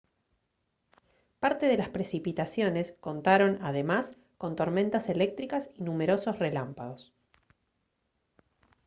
parte de las precipitaciones contaron además con tormentas eléctricas y numerosos relámpagos